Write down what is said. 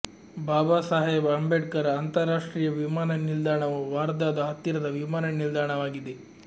ಬಾಬಾಸಾಹೇಬ್ ಅಂಬೇಡ್ಕರ್ ಅಂತಾರಾಷ್ಟ್ರೀಯ ವಿಮಾನ ನಿಲ್ದಾಣವು ವಾರ್ಧಾದ ಹತ್ತಿರದ ವಿಮಾನ ನಿಲ್ದಾಣವಾಗಿದೆ